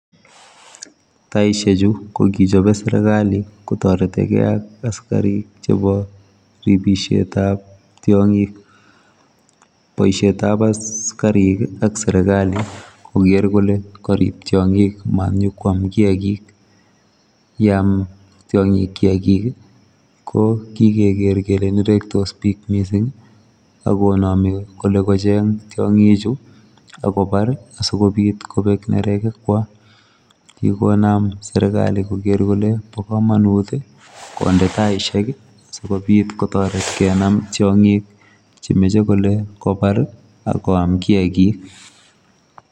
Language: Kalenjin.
Taisheek chuu ko kichapeen serikali kotaretii ak askariik chebo ripishet ab tiangiik, boisiet ab askariik ii ak serikali koger kole kariib tiangiik ma nyonkwak kiagik yaan tiangiik kiagiik ko kigeker kole nerektos biik missing ak konamiin kole kocheeng tiangiik chuu ako Baar ii asikobiit kobeek neregeg kwaak kikonaam serikali koger kole ,bo kamanut kondee taisheek ii sikobiit kotareet kenam tiangiik che machei kole kobaar ako yaan kiagik.